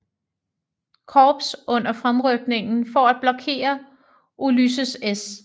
Korps under fremrykningen for at blokere Ulysses S